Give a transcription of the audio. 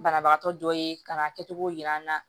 Banabagatɔ dɔ ye ka na a kɛcogo yira an na